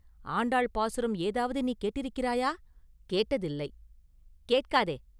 ஆண்டாள் பாசுரம் ஏதாவது நீ கேட்டிருக்கிறாயா?” “கேட்டதில்லை.” “கேட்காதே!